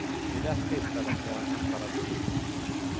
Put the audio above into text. Vid ett tillfälle blev han hämtad av polisen.